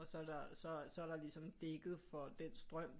Og så er der så er der ligesom dækket for den strøm